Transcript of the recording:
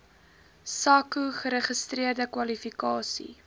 sako geregistreerde kwalifikasies